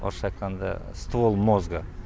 орысша айтқанда ствол мозга